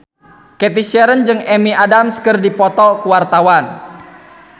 Cathy Sharon jeung Amy Adams keur dipoto ku wartawan